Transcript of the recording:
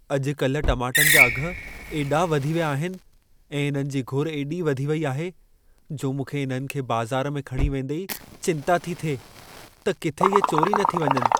अॼु कल टमाटनि जा अघि एॾा वधी विया आहिनि ऐं इन्हनि जी घुर एॾी वधी वेई आहे, जो मूंखे इन्हनि खे बाज़ारु में खणी वेंदे ई चिंता थी थिए, त किथे इहे चोरी न थी वञनि।